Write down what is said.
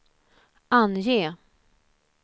ange